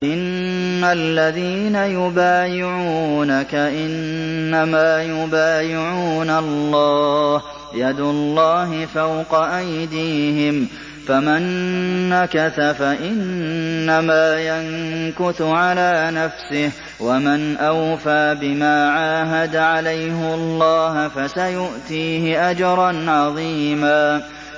إِنَّ الَّذِينَ يُبَايِعُونَكَ إِنَّمَا يُبَايِعُونَ اللَّهَ يَدُ اللَّهِ فَوْقَ أَيْدِيهِمْ ۚ فَمَن نَّكَثَ فَإِنَّمَا يَنكُثُ عَلَىٰ نَفْسِهِ ۖ وَمَنْ أَوْفَىٰ بِمَا عَاهَدَ عَلَيْهُ اللَّهَ فَسَيُؤْتِيهِ أَجْرًا عَظِيمًا